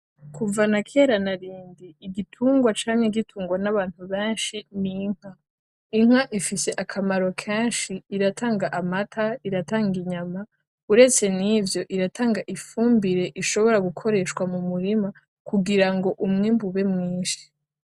Kuva na kera na rindi, igitungwa camye gitungwa n’abantu benshi n’inka. Inka ifise akamaro kenshi iratanga amata, iratanga inyama, uretse n’ivyo iratanga ifumbire ishobora gukoreshwa mu murima kugira ngo umwimbu ube mwinshi.